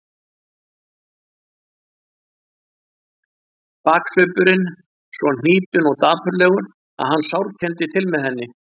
Baksvipurinn svo hnípinn og dapurlegur að hann sárkenndi til með henni.